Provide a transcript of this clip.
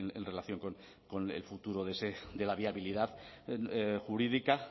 en relación con el futuro de ese de la viabilidad jurídica